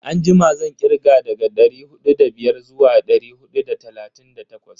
Anjima zan kirga daga dari hudu da biyar zuwa dari hudu da talatin da takwas.